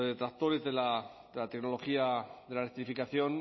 detractores de la tecnología de la electrificación